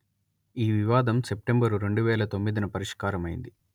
ఈ వివాదం సెప్టెంబర్ రెండు వేల తొమ్మిదిన పరిష్కారమైంది